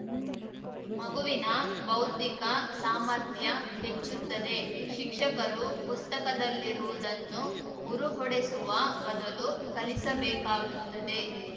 ಮಗುವಿನ ಬೌದ್ಧಿಕ ಸಾಮರ್ಥ್ಯ ಹೆಚ್ಚುತ್ತದೆ ಶಿಕ್ಷಕರು ಪುಸ್ತಕದಲ್ಲಿರುವುದನ್ನು ಉರುಹೊಡೆಸುವ ಬದಲು ಕಲಿಸಬೇಕಾಗುತ್ತದೆ